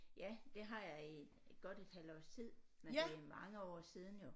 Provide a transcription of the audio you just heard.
Ja det har jeg i godt et halvt års tid men det er mange år siden jo